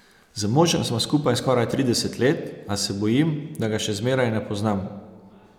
Z možem sva skupaj skoraj trideset let, a se bojim, da ga še zmeraj ne poznam.